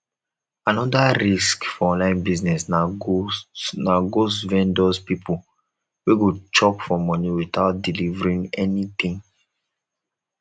another risk for online business na ghost na ghost vendors pipo wey go chop for money without delievering anything